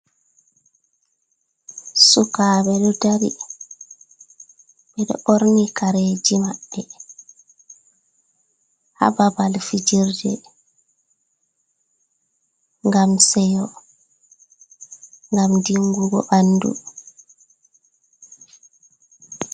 Sukaɓe ɗo dari, ɓeɗo ɓorni kareji maɓɓe, hababal fijirde gam seyo, gam dinbugo bandu.